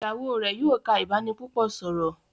Ìyàwó rẹ yóò ká ibanipúpò sọrọ.